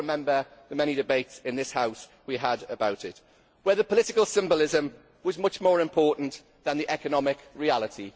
I well remember the many debates in this House we had about it, where the political symbolism was much more important than the economic reality.